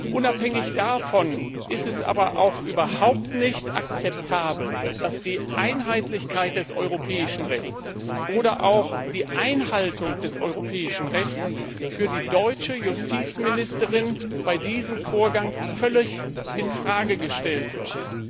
Unabhängig davon ist es überhaupt nicht akzeptabel, dass die Einheitlichkeit des europäischen Rechts oder auch die Einhaltung des europäischen Rechts von der deutschen Justizministerin bei diesem Vorgang völlig in Frage gestellt wird.